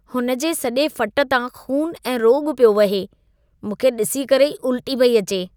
हुन जे सॼे फ़ट तां खून ऐं रोॻ पियो वहे। मूंखे ॾिसी करे ई उल्टी पई अचे।